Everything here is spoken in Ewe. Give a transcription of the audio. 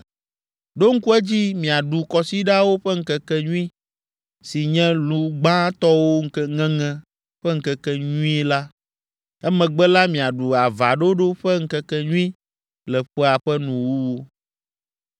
“Ɖo ŋku edzi miaɖu Kɔsiɖawo ƒe Ŋkekenyui, si nye lu gbãtɔwo ŋeŋe ƒe ŋkekenyuie la; emegbe la miaɖu Avaɖoɖo ƒe Ŋkekenyui le ƒea ƒe nuwuwu.